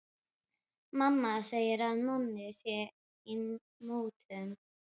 Mamma segir að Nonni sé í mútum.